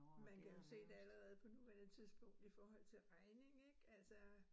Man kan jo se det allerede på nuværende tidspunkt i forhold til regning ik altså